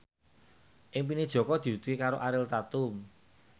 impine Jaka diwujudke karo Ariel Tatum